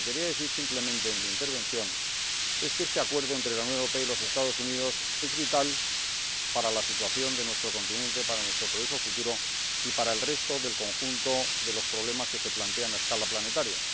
Lo que quería decir simplemente en mi intervención es que este Acuerdo entre la Unión Europea y los Estados Unidos es vital para la situación de nuestro continente, para nuestro progreso futuro y para el resto del conjunto de los problemas que se plantean a escala planetaria.